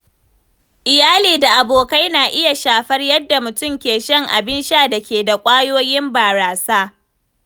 Iyali da abokai na iya shafar yadda mutum ke shan abin da ke da ƙwayoyin barasa.